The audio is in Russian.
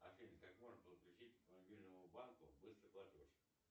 афина как можно подключить к мобильному банку быстрый платеж